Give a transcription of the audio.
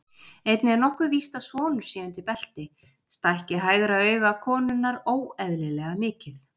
Einnig er nokkuð víst að sonur sé undir belti, stækki hægra auga konunnar óeðlilega mikið.